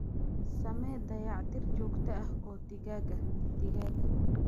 Samee dayactir joogto ah oo digaagga digaagga.